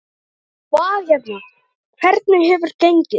Hvað hérna, hvernig hefur gengið?